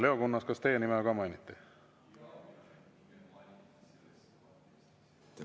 Leo Kunnas, kas teie nime ka mainiti?